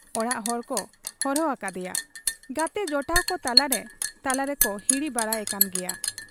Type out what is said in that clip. ᱚᱲᱟᱜ ᱦᱚᱲᱠᱚ ᱦᱚᱨᱦᱚ ᱟᱠᱟᱫ ᱮᱭᱟ ᱾ ᱜᱟᱛᱮ ᱡᱚᱴᱟᱣ ᱠᱚ ᱛᱟᱞᱟᱨᱮ ᱛᱟᱞᱟᱨᱮᱠᱚ ᱦᱤᱨᱤ ᱵᱟᱲᱟ ᱮᱠᱟᱱ ᱜᱮᱭᱟ ᱾